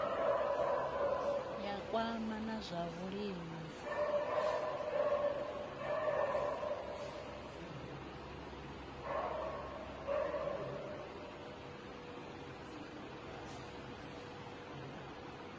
ya kwama na zwa vhulimi